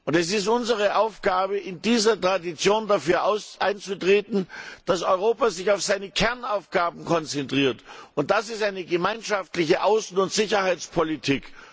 Es ist unsere Aufgabe in dieser Tradition dafür einzutreten, dass Europa sich auf seine Kernaufgaben konzentriert und das ist eine gemeinschaftliche Außen und Sicherheitspolitik!